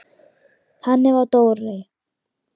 Þannig var Dóri.